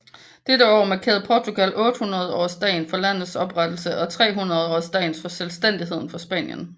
Dette år markerede Portugal 800 årsdagen for landets oprettelse og 300 årsdagen for selvstændigheden fra Spanien